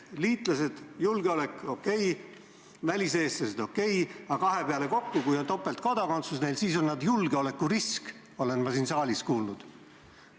Liitlased, julgeolek – okei, väliseestlased – okei, aga need kaks kokku, kui neil inimestel on topeltkodakondsus, siis on nad julgeolekurisk, nagu ma olen siin saalis kuulnud.